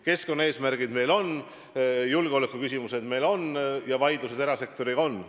Keskkonnaeesmärgid meil on, julgeolekuküsimused meil on ja vaidlused erasektoriga on.